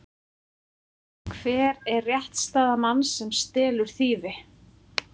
Hver er réttarstaða manns sem stelur þýfi?